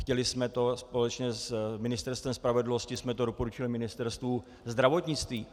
Chtěli jsme to společně, s Ministerstvem spravedlnosti jsme to doporučili Ministerstvu zdravotnictví.